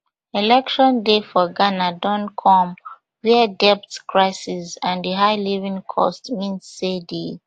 election day for ghana don comewia debt crisis and and high living costs mean say di